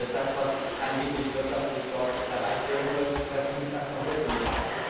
Das, was angeblich wirtschaftlich dort erreicht werden soll, muss erst noch Wirkung zeigen.